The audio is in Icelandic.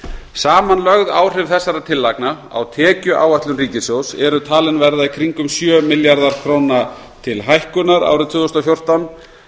samanlögð áhrif þessara tillagna á tekjuáætlun ríkissjóðs eru talin verða kringum sjö milljarðar króna til hækkunar árið tvö þúsund og fjórtán